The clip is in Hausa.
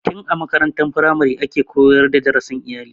Tin a makarantar firamare ake koyar da darasin iyali.